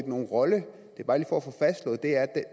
nogen rolle